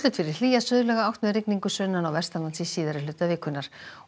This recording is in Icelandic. fyrir hlýja suðlæga átt með rigningu sunnan og vestanlands í síðari hluta vikunnar